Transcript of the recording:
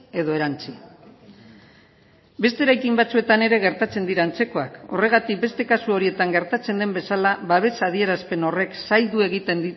edo erantsi beste eraikin batzuetan ere gertatzen dira antzekoak horregatik beste kasu horietan gertatzen den bezala babes adierazpen horrek zaildu egiten